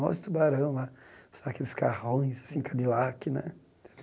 Olha os Tubarão lá, com aqueles carrões, assim cadilac né.